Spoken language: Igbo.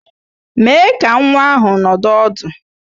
Mèé ka nwa ahụ nọdụ ọdụ